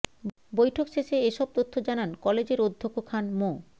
বৈঠক শেষে এসব তথ্য জানান কলেজের অধ্যক্ষ খান মো